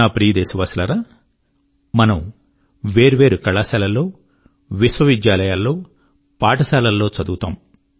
నా ప్రియదేశవాసులారా మనము వేర్వేరు కళాశాలల్లో విశ్వవిద్యాలయాల్లో బడుల్లో చదువుతాము